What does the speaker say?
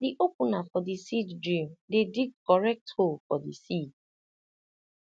the opener for the seed drill dey dig correct hole for the seed